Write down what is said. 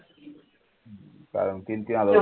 कारण मग तीन तीन हजार